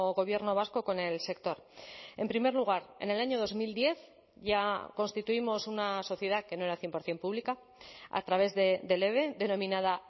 gobierno vasco con el sector en primer lugar en el año dos mil diez ya constituimos una sociedad que no era cien por ciento pública a través del eve denominada